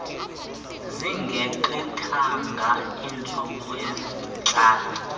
zingegqithanga iintsuku ezintlanu